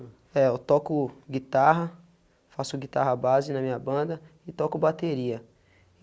É, eu toco guitarra, faço guitarra base na minha banda e toco bateria.